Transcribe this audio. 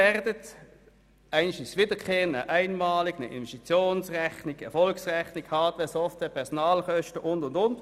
Manche sind wiederkehrend, manche einmalig, es geht um die Investitionsrechnung, die Erfolgsrechnung, Hardware, Software, Personalkosten und vieles mehr.